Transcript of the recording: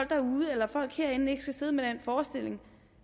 derude eller folk herinde ikke skal sidde med den forestilling